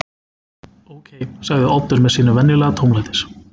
Ókei- sagði Oddur með sínum venjulega tómlætis